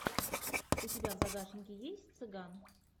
у тебя в загашнике есть цыган